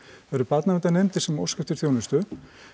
það eru barnaverndarnefndir sem óska eftir þjónustu